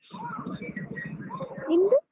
ನಿಮ್ದು?